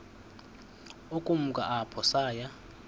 ukumka apho saya